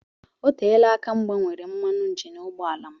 Oteela aka m gbanwere mmanụ injin ụgbọ ala m